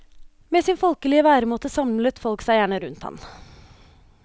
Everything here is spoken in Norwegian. Med sin folkelege væremåte samla folk seg gjerne rundt han.